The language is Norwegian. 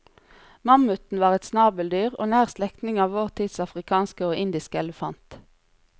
Mammuten var et snabeldyr og nær slektning av vår tids afrikanske og indiske elefant.